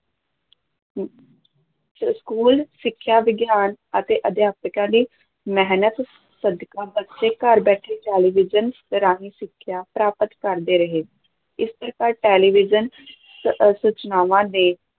school ਸਿੱਖਿਆ ਵਿਗਿਆਨ ਅਤੇ ਅਧਿਆਪਕਾਂ ਦੀ ਮਿਹਨਤ ਸਦਕਾ ਬੱਚੇ ਘਰ ਬੈਠਿਆਂ ਟੈਲੀਵਿਜ਼ਨ ਰਾਹੀਂ ਸਿੱਖਿਆ ਪ੍ਰਾਪਤ ਕਰਦੇ ਰਹੇ, ਇਸ ਪ੍ਰਕਾਰ ਟੈਲੀਵਿਜ਼ਨ ਸ ਸੂਚਨਾਵਾਂ ਦੇ